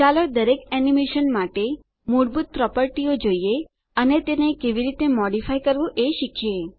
ચાલો દરેક એનીમેશન માટે મૂળભૂત પ્રોપર્ટીઓ જોઈએ અને તેને કેવી રીતે મોડીફાય કરવું એ શીખીએ